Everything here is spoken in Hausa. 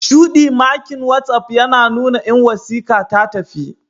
Shudi makin watsapp yina nuna in wasika tatafi.